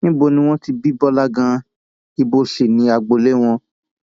níbo ni wọn ti bí bọlá ganan ibo sì ni agboolé wọn